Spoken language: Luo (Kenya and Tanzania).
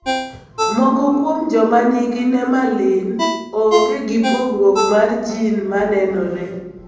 Moko kuom joma ni gi nemaline ongr gi pogruok mar gin ma nenore.